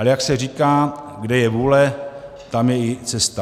Ale jak se říká, kde je vůle, tam je i cesta.